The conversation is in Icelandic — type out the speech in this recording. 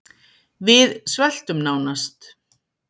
Við sveltum nánast